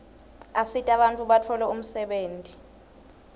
asita bantfu batfole umsebenti